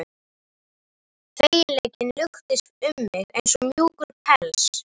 Feginleikinn luktist um mig eins og mjúkur pels.